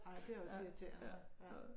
Ej det er også irriterende ja